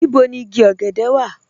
Níbò ni ìgí ògẹ̀dẹ̀ wà?